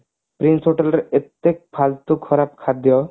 prince hotel ରେ ଏତେ ଫାଲ୍ତୁ ଖରାପ ଖାଦ୍ଯ